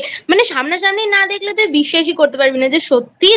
মানে সামনাসামনি না দেখলে তুই বিশ্বাসই করতে পারবি না যে সত্যিই